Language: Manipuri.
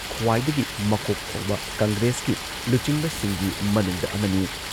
ꯈ꯭ꯋꯥꯏꯗꯒꯤ ꯃꯀꯣꯛ ꯊꯣꯡꯕ ꯀꯪꯒ꯭ꯔꯦꯁꯀꯤ ꯂꯨꯆꯤꯡꯕꯁꯤꯡꯒꯤ ꯃꯅꯨꯡꯗ ꯑꯃꯅꯤ ꯫